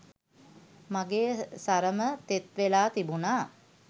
මගෙ සරම තෙත් වෙලා තිබුණා.